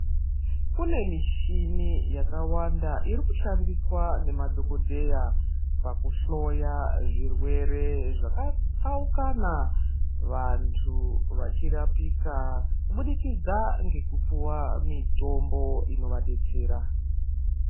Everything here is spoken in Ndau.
Kune mishini yakawanda iri kushandiswa nemadhokodheya pakuhloya zvirwere zvakatsaukana vantu vachirapika kubudikidza ngekupuwa mitombo inovadetsera.